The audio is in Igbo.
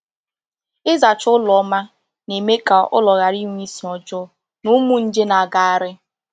Ịzacha ụlọ ọma na-eme ka ụlọ ghara ịnwe isi ọjọọ na ụmụ nje na-agagharị.